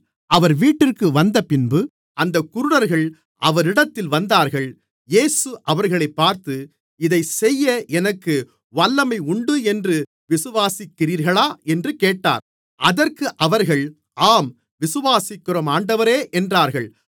அவர் வீட்டிற்கு வந்தபின்பு அந்தக் குருடர்கள் அவரிடத்தில் வந்தார்கள் இயேசு அவர்களைப் பார்த்து இதைச்செய்ய எனக்கு வல்லமை உண்டு என்று விசுவாசிக்கிறீர்களா என்று கேட்டார் அதற்கு அவர்கள் ஆம் விசுவாசிக்கிறோம் ஆண்டவரே என்றார்கள்